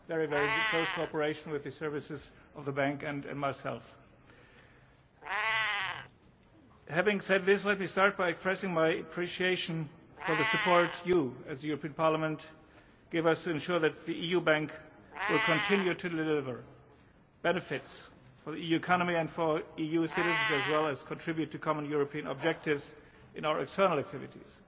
very good, close cooperation with the services of the Bank and myself. Having said this, let me start by expressing my appreciation for the support you, as the European Parliament, give us to ensure that the EU bank will continue to deliver benefits for the EU economy and for EU citizens, as well as contribute to common European objectives in our external activities.